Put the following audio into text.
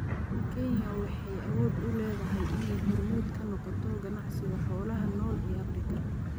Kenya waxay awood u leedahay inay hormuud ka noqoto ganacsiga xoolaha nool ee Afrika.